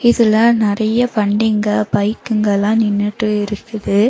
சில நெறைய வண்டிங்க பைக்குங்க எல்லா நின்னுட்டு இருக்குது.